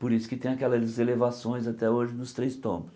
Por isso que tem aquelas elevações até hoje nos Três Tombos.